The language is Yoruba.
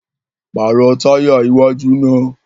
Paarọ taya iwaju naa!